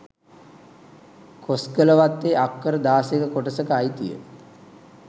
කොස්ගලවත්තේ අක්කර දාසයක කොටසක අයිතිය